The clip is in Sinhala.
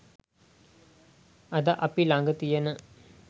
අද අපි ළඟ තියෙන